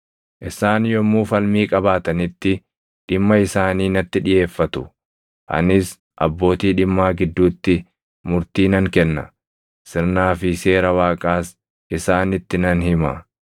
Isaan yommuu falmii qabaatanitti dhimma isaanii natti dhiʼeeffatu; anis abbootii dhimmaa gidduutti murtii nan kenna; sirnaa fi seera Waaqaas isaanitti nan hima.”